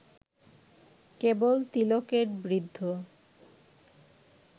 কেবল তিলকের বৃদ্ধ